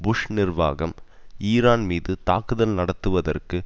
push நிர்வாகம் Iran மீது தாக்குதல் நடத்துவதற்கு